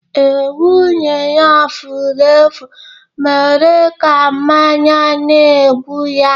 Ee, nwunye ya furu efu mere ka mmanya na-egbu ya